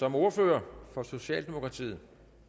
som ordfører for socialdemokratiet